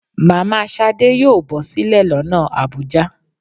Mama shádé yọọ bosílè lona Abuja.